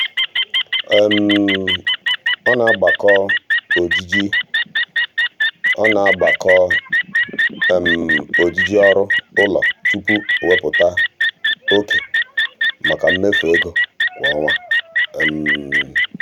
um ọ na-agbakọ ojiji ọ na-agbakọ ojiji ọrụ ụlọ tupu o wepụta oke maka mmefu ego kwa ọnwa. um